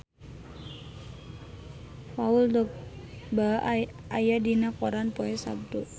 Paul Dogba aya dina koran poe Saptu